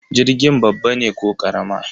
Jirgin babba ne ko karama?